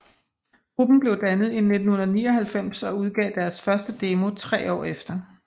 Gruppen blev dannet i 1999 og udgav deres første demo tre år efter